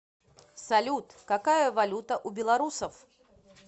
салют какая валюта у белорусов